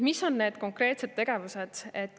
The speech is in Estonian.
Mis on need konkreetsed tegevused?